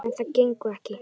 En það gengur ekki.